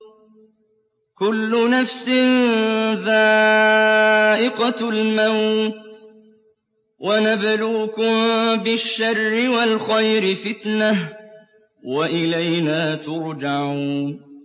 كُلُّ نَفْسٍ ذَائِقَةُ الْمَوْتِ ۗ وَنَبْلُوكُم بِالشَّرِّ وَالْخَيْرِ فِتْنَةً ۖ وَإِلَيْنَا تُرْجَعُونَ